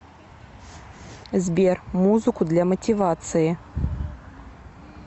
сбер музыку для мотивации